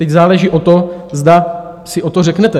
Teď záleží na tom, zda si o to řeknete.